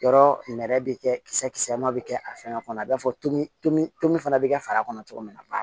Yɔrɔ nɛrɛ bɛ kɛ kisɛ kisɛ ma bɛ kɛ a fɛngɛ kɔnɔ i b'a fɔ tomi tobi tobi fana bi kɛ fara kɔnɔ cogo min na